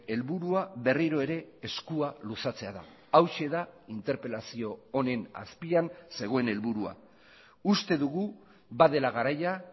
helburua berriro ere eskua luzatzea da hauxe da interpelazio honen azpian zegoen helburua uste dugu badela garaia